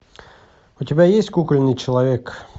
у тебя есть кукольный человек